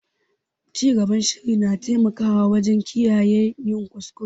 Cigaban shiri na taimakawa wajen kiyaye yin kuskure.